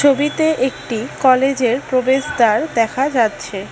ছবিতে একটি কলেজের প্রবেশদ্বার দেখা যাচ্ছে।